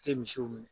Tɛ misiw